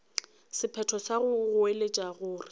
sephetho sa go goeletša gore